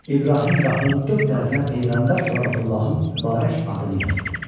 İbrahim qapının dörd tərəfinə Peyğəmbər Səlavatullahın mübarək adını yazdı.